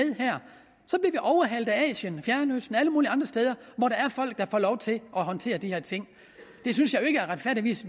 overhalet af asien fjernøsten og alle mulige andre steder hvor der er folk der får lov til at håndtere de her ting det synes jeg jo retfærdigvis